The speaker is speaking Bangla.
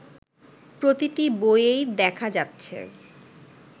প্রতিটি বইয়েই দেখা যাচ্ছে